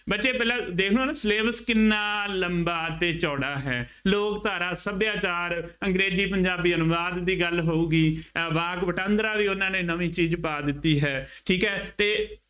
ਬੱਚੇ ਪਹਿਲਾਂ ਦੇਖ ਲਉ ਨਾ syllabus ਕਿੰਨਾ ਲੰਬਾ ਅਤੇ ਚੌੜਾ ਹੈ। ਲੋਕ ਧਾਰਾ ਸੱਭਿਆਚਾਰ ਅੰਗਰੇਜ਼ੀ ਪੰਜਾਬੀ ਅਨੁਵਾਦ ਦੀ ਗੱਲ ਹੋਊਗੀ, ਅਹ ਵਾਕ ਵਟਾਂਦਰਾ ਵੀ ਉਹਨਾ ਨੇ ਨਵੀਂ ਚੀਜ਼ ਪਾ ਦਿੱਤੀ ਹੈ, ਠੀਕ ਹੈ, ਅਤੇ